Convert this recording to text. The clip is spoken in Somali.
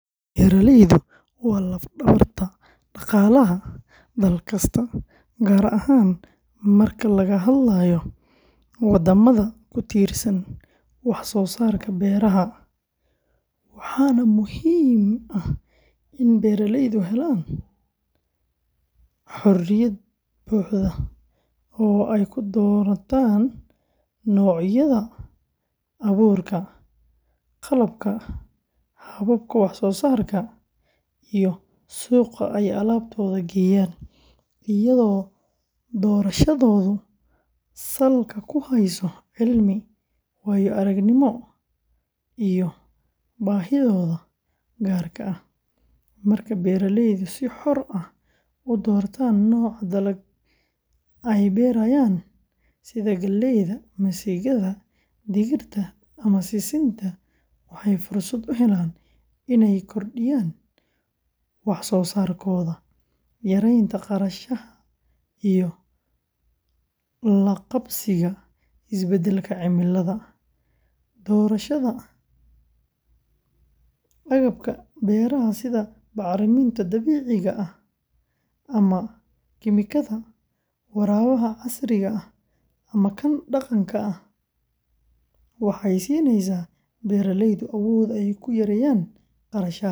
Beeraleydu waa laf-dhabarta dhaqaalaha dal kasta, gaar ahaan marka laga hadlayo waddamada ku tiirsan wax-soosaarka beeraha sida Soomaaliya, waxaana muhiim ah in beeraleydu helaan xorriyad buuxda oo ay ku doortaan noocyada abuurka, qalabka, hababka wax-soosaarka iyo suuqa ay alaabtooda geeyaan, iyadoo doorashadoodu salka ku hayso cilmi, waayo-aragnimo iyo baahiyahooda gaarka ah. Marka beeraleydu si xor ah u doortaan nooca dalagga ay beerayaan – sida galleyda, masagada, digirta ama sisinta – waxay fursad u helaan inay kordhiyaan wax-soosaarkooda, yaraynta khasaaraha iyo la qabsiga isbeddelka cimilada. Doorashada agabka beeraha sida bacriminta dabiiciga ah ama kiimikada, waraabka casriga ah ama kan dhaqanka, waxay siinaysaa beeraleyda awood ay ku yareeyaan kharashaadka.